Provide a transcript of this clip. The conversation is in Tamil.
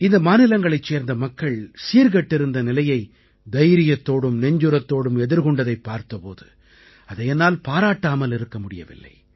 இந்த மாநிலங்களைச் சேர்ந்த மக்கள் சீர்கெட்டிருந்த நிலையை தைரியத்தோடும் நெஞ்சுரத்தோடும் எதிர்கொண்டதைப் பார்த்த போது அதை என்னால் பாராட்டாமல் இருக்க முடியவில்லை